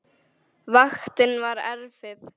Vaktin var erfið.